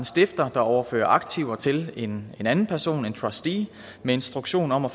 stifter der overfører aktiver til en anden person en trustee med instruktion om at